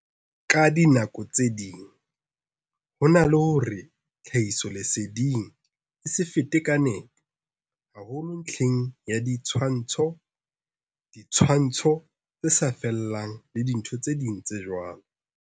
Ka dinako tse ding hona le hore tlha hisoleseding e se fete ka nepo, haholo ntlheng ya di tshwantsho, ditshwantsho tse sa fellang le dintho tse ding tse jwalo.